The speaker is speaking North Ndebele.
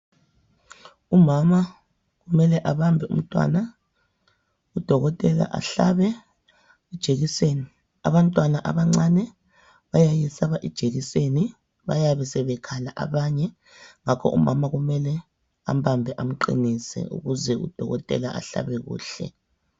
Umama kumele abambe umntwana udokotela ahlabe ijekiseni abantwana abancane bayayesaba ijekiseni bayabe sebekhala abanye ngakho Umama kumele ambambe amqinise ukuze udokotela ahlabe kuhle